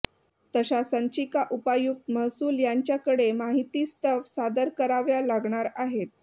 तशा संचिका उपायुक्त महसूल यांच्याकडे माहितीस्तव सादर कराव्या लागणार आहेत